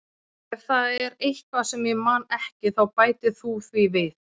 Ef það er eitthvað sem ég man ekki þá bætir þú því við.